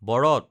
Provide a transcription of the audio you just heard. বৰত